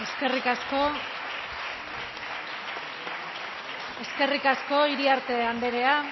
guztioi eskerrik asko iriarte andrea